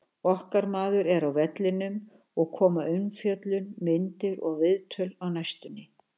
Okkar maður er á vellinum og koma umfjöllun, myndir og viðtöl á næstunni.